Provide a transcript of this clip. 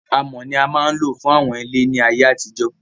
Amọ̀ ni a máa ń lò fún àwọn ilé ní ayé àtijó